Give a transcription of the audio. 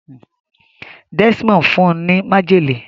Desmond fún ní májèlé.